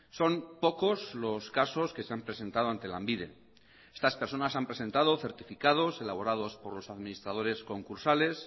son pocos los casos que se han presentado ante lanbide estas personas han presentado certificados elaborados por los administradores concursales